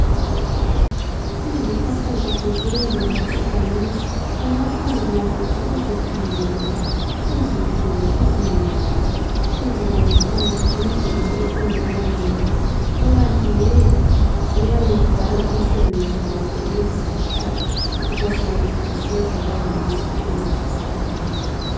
Izihlahla zethu zemvelo egangeni ungahlangana lazo uzikhangele nje uzidlule uziyeyise uzibone sengathi yizinto ezingela ncedo kukanti yeyi, ziyawudlala umsebenzi wazo lezo zihlahla ubasozitshintshwe zaba yimithi encedisa abantu.